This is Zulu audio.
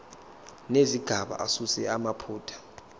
nezigaba asuse amaphutha